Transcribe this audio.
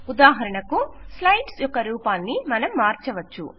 ఉదాహరణకు స్లైడ్స్ యొక్క రూపాన్ని మనం మార్చవచ్చు